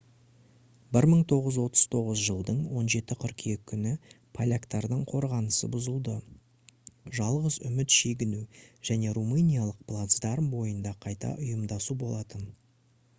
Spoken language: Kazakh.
1939 жылдың 17 қыркүйек күні поляктардың қорғанысы бұзылды жалғыз үміт шегіну және румыниялық плацдарм бойында қайта ұйымдасу болатын